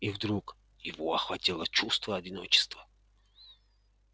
и вдруг его охватило чувство одиночества